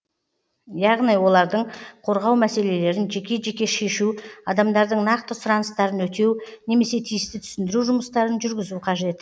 яғни олардың қорғау мәселелерін жеке жеке шешу адамдардың нақты сұраныстарын өтеу немесе тиісті түсіндіру жұмыстарын жүргізу қажет